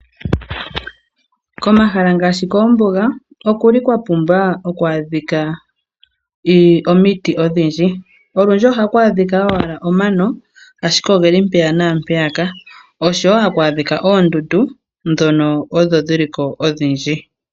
Komahala ngaashi koombuga okwa pumba oku adhika omiti odhindji. Olundji ohaku adhika owala omano, ashike oge li mpaka naampeyaka noshowo haku adhika oondundu ndhono odho dhi li ko odhindji.